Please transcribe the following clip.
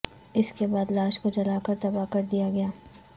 اس کے بعد لاش کو جلا کر تباہ کر دیا گیا